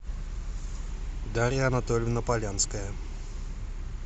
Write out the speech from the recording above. дарья анатольевна полянская